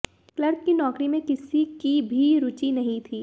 clerk की नौकरी में किसी की भी रुचि नहीं थी